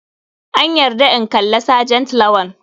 An yarda in kalla sergent lawal.